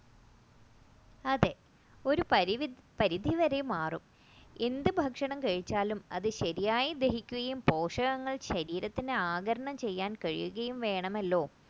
അതെ ഒരു പരിധിവരെ മാറും എന്തു ഭക്ഷണം കഴിച്ചാലും അത് ശരിയായി ദഹിക്കുകയും പോഷകങ്ങൾ ശരീരത്തിന് ആഗിരണം ചെയ്യുകയും വേണമല്ലോ